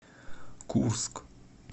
курск